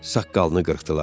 Saqqalını qırxdılar.